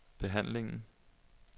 behandlingen